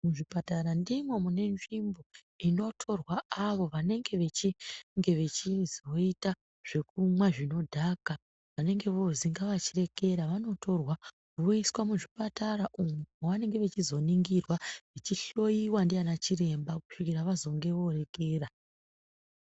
Muzvipatara ndimo mune nzvimbo inotorwa avo vanenge vechizoita zvekumwa zvinodhaka. Vanenge voozi ngavachirekera vanotorwa voiswa muzvipatara umu mavanenge vachizoningirwa vachihloiwa ndiana chiremba kusvikira vazonge vorekera.